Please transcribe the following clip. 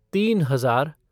तीन हजार